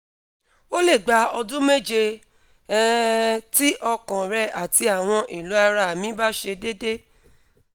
o le gba odun meje um ti okan re ati awon elo ara mi ba se dede